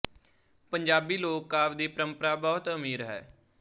ਪੰਜਾਬੀ ਲੋਕ ਕਾਵਿ ਦੀ ਪਰੰਪਰਾ ਬਹੁਤ ਅਮੀਰ ਹੈ